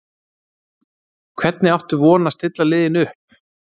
Hvernig áttu von á að stilla liðinu upp?